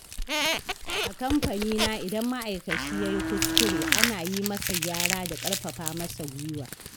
A kamfanina idan ma'aikaci ya yi kuskure, ana yi masa gyara da ƙarfafa masa guiwa.